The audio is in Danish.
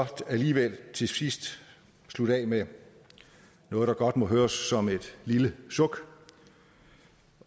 alligevel til sidst slutte af med noget der godt må høres som et lille suk